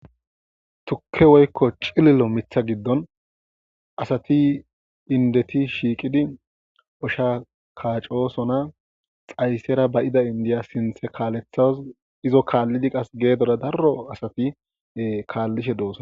Tukke woykko cililo mitha giddon asati indeti shiiqidi osha kaacosona xaysera bayida indiya sinthe kaalethas izo kaallidi qas geedoda darro asati kaallishe dooson.